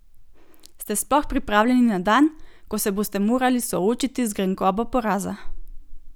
Ste sploh pripravljeni na dan, ko se boste morali soočiti z grenkobo poraza?